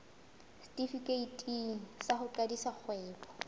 setefikeiti sa ho qadisa kgwebo